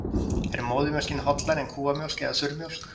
Er móðurmjólkin hollari en kúamjólk eða þurrmjólk?